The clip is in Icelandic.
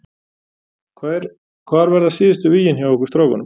Hvar verða síðustu vígin hjá okkur strákunum?